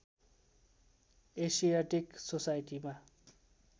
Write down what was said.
Asiatic सोसाइटीमा